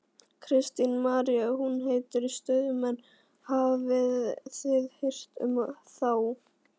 Kristín María: Hún heitir Stuðmenn, hafið þið heyrt um þá?